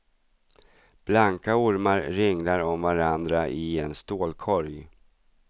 Blanka ormar ringlar om varandra i en stålkorg.